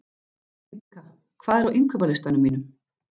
Víbekka, hvað er á innkaupalistanum mínum?